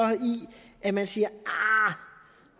i at man siger